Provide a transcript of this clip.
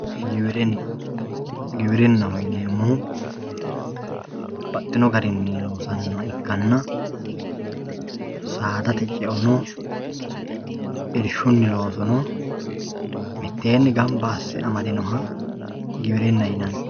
giwirinna giwirinnaho yineemohu baxino garinni loonsanniha ikkanna saadate ce"o no irshunni loosu no miteenni gamba asse amadinoha giwirinna yinanni.